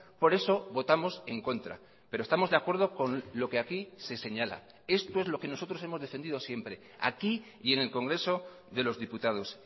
por eso votamos en contra pero estamos de acuerdo con lo que aquí se señala esto es lo que nosotros hemos defendido siempre aquí y en el congreso de los diputados